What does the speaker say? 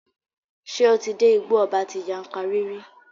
Ṣé o ti dé Igbó ọba ti Yankari rí?